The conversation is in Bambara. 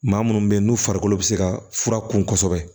Maa munnu be yen n'u farikolo be se ka fura kun kosɛbɛ